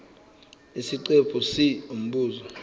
isiqephu c umbuzo